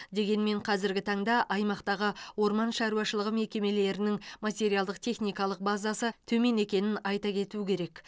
дегенмен қазіргі таңда аймақтағы орман шаруашылығы мекемелерінің материалдық техникалық базасы төмен екенін айта кету керек